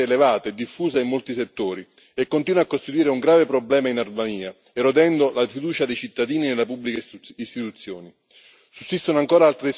Purtroppo, la corruzione resta elevata e diffusa in molti settori e continua a costituire un grave problema in Albania, erodendo la fiducia dei cittadini nelle pubbliche istituzioni.